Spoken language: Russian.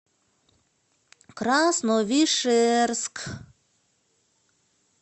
красновишерск